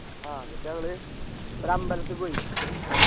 ആ എന്നിട്ട് ഞങ്ങള് ഒരമ്പലത്തി പോയി